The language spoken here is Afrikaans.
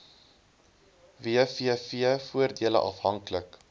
wvf voordele afhanklik